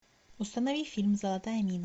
установи фильм золотая мина